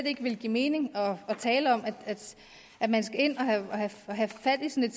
ikke ville give mening at tale om at man skal ind og have have fat i sådan